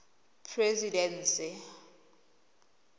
presidency